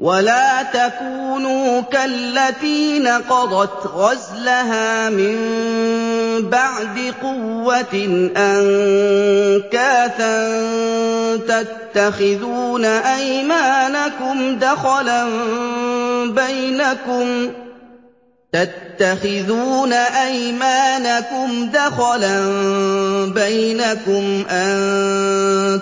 وَلَا تَكُونُوا كَالَّتِي نَقَضَتْ غَزْلَهَا مِن بَعْدِ قُوَّةٍ أَنكَاثًا تَتَّخِذُونَ أَيْمَانَكُمْ دَخَلًا بَيْنَكُمْ أَن